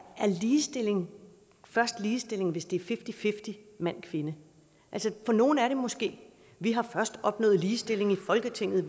ligestilling først ligestilling hvis det er fifty fifty mand kvinde for nogen er det måske vi har først opnået ligestilling i folketinget